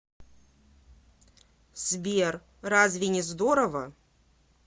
сбер разве не здорово